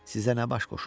Sizə nə baş qoşum?